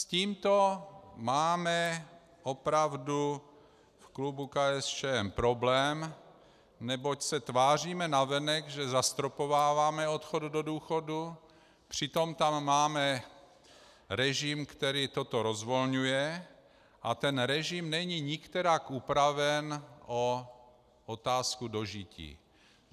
S tímto máme opravdu v klubu KSČM problém, neboť se tváříme navenek, že zastropováváme odchod do důchodu, přitom tam máme režim, který toto rozvolňuje, a ten režim není nikterak upraven o otázku dožití.